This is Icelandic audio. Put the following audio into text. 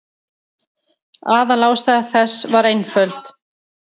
Aðalástæða þess var einföld.